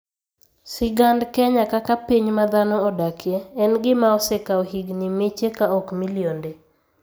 Sigand Kenya kaka piny ma dhano odakie, en gima osekawo higini miche, ka ok milionde.